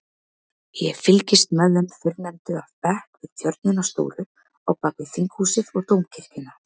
Ég fylgist með þeim fyrrnefndu af bekk við tjörnina stóru á bakvið Þinghúsið og Dómkirkjuna.